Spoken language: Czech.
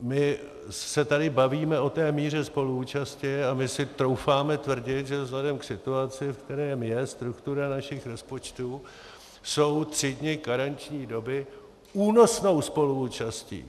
My se tady bavíme o té míře spoluúčasti a my si troufáme tvrdit, že vzhledem k situaci, v kterém je struktura našich rozpočtů, jsou tři dny karenční doby únosnou spoluúčastí,